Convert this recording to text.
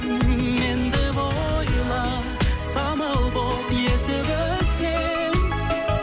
мен деп ойла самал болып есіп өткен